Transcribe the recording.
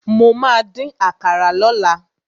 Mo ma dín àkàrà lọ́la.